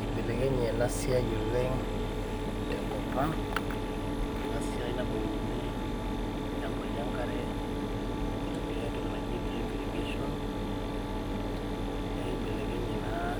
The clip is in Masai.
Eibelekenye ena siai oleng tenkop ang ena siai nabukokini ilchambai enkare itumiae entoki naji drip irrigation neibelekenye naa